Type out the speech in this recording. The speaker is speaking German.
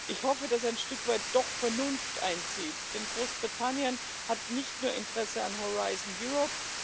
Ich hoffe, dass ein Stück weit doch Vernunft einzieht, denn Großbritannien hat nicht nur Interesse an Horzion Europe